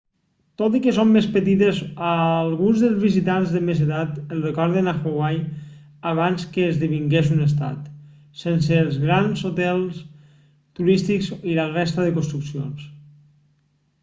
tot i que són més petites a alguns dels visitants de més edat els recorden a hawaii abans que esdevingués un estat sense els grans hotels turístics i la resta de construccions